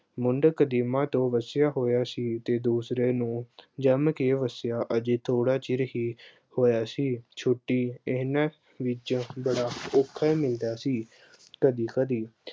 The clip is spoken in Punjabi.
ਮੰਦਕ ਦੀਮਾ ਤੋਂ ਵਸਿਆ ਹੋਇਆ ਸੀ ਤੇ ਦੂਸਰੇ ਨੂੰ ਜੰਮ ਕੇ ਵਸਿਆ, ਅਜੇ ਥੋੜਾ ਚਿਰ ਹੀ ਹੋਇਆ ਸੀ। ਛੁੱਟੀ ਇਹਨਾਂ ਵਿੱਚੋਂ ਬੜਾ ਔਖਾ ਮਿਲਦਾ ਸੀ ਕਦੀ-ਕਦੀ।